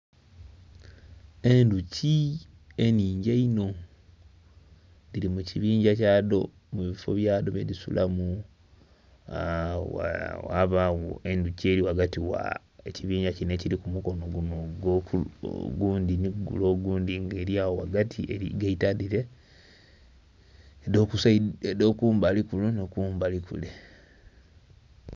Endhuki ennhingi einho dhiri mu kibingya kyadho mu bifo byadho byedhisulamu ... ghabagho endhuki eri ghagati gha ekibingya kino ekiri ku mukono guno ogundhi nhi gule ogundhi nga eli agho ghagati eri gaita dhire edh'okumbali kuno ni kumbali kule.